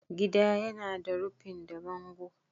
Gida yana da rufin da bango.